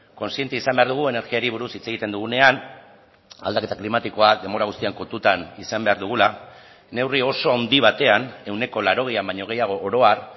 kontziente izan behar dugu energiari buruz hitz egiten dugunean aldaketa klimatikoa denbora guztian kontutan izan behar dugula neurri oso handi batean ehuneko laurogeian baino gehiago oro har